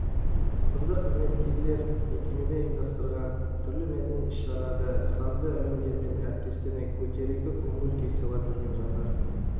сынды қызметкерлер мекемеде ұйымдастырылған түрлі мәдени іс-шараларда сазды әуендерімен әріптестеріне көтеріңкі көңіл-күй сыйлап жүрген жандар